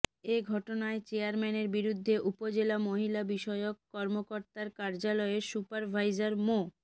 এ ঘটনায় চেয়ারম্যানের বিরুদ্ধে উপজেলা মহিলা বিষয়ক কর্মকর্তার কার্যালয়ের সুপারভাইজার মো